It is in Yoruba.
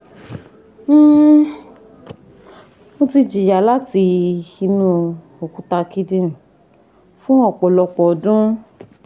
um mo ti jiya lati inu okuta kidinrin fun ọpọlọpọ ọdun